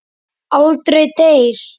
Aldrei deyr.